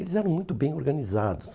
Eles eram muito bem organizados.